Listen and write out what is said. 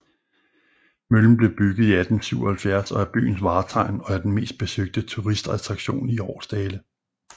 Møllen blev bygget i 1877 og er byens vartegn og er den mest besøgte turistattraktion i Aarsdale